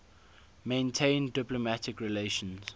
maintain diplomatic relations